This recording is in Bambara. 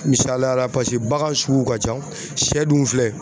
Misaliya la bagan sugu ka ca sɛ dun filɛ